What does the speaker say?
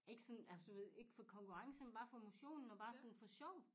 Ikke sådan altså du ved ikke for konkurrence men bare for motionen og bare sådan for sjov